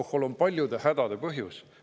Alkohol on paljude hädade põhjus.